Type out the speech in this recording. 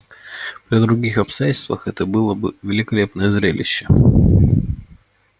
при других обстоятельствах это было бы великолепное зрелище